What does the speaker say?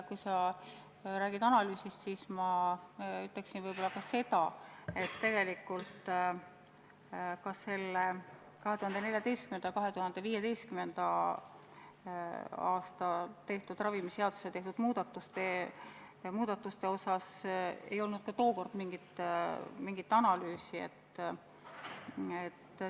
Kui sa räägid analüüsist, siis ma ütleksin, et tegelikult ka 2014.–2015. aastal tehtud ravimiseaduse muutmise kohta ei olnud mingit analüüsi.